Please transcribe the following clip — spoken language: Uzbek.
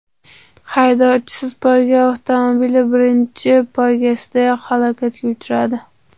Haydovchisiz poyga avtomobili birinchi poygasidayoq halokatga uchradi.